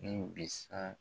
Min bɛ sa